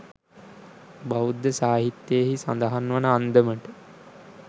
බෞද්ධ සාහිත්‍යයෙහි සඳහන් වන අන්දමට,